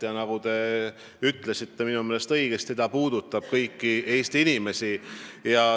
Ja nagu te minu meelest õigesti ütlesite, see puudutab kõiki Eesti inimesi.